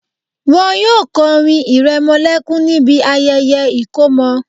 Wọn yóò kọrin ìrẹmọlẹ́kún níbi ayẹyẹ ìkọmọ